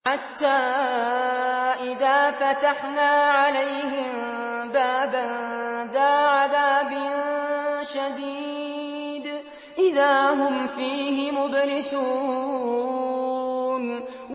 حَتَّىٰ إِذَا فَتَحْنَا عَلَيْهِم بَابًا ذَا عَذَابٍ شَدِيدٍ إِذَا هُمْ فِيهِ مُبْلِسُونَ